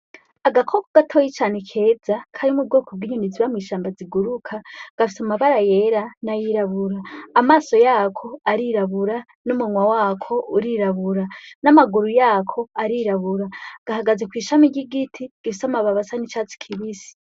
Agakoko gatoyi cane keza kari mu bwoko bw’inyoni zo mw’ishamba ziguruka, gafise amabara yera n’ayirabura , amaso yako arirabura n’umunwa wako urirabura n’amaguru yako arirabura ,gahagaze kw’ishami ry’igiti gifise amababi asa n’icatsi kibisi.